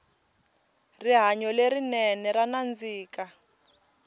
rihanyo le rinene ra nandzika